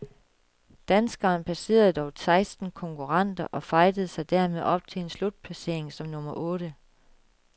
Danskeren passerede dog seksten konkurrenter og fightede sig dermed op til en slutplacering som nummer otte.